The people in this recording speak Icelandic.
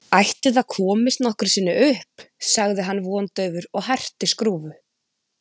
Ætli það komist nokkru sinni upp sagði hann vondaufur og herti skrúfu.